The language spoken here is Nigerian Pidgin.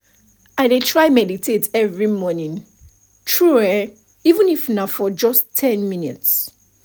i deh try meditate every morning true eh even if na for just ten minutes